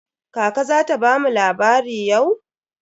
Kaka za ta bamu labari yau?